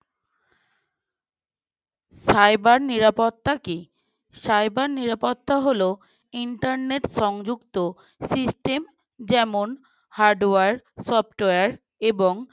cyber নিরাপত্তা কী? cyber নিরাপত্তা হলো internet সংযুক্ত system যেমন hardware, software এবং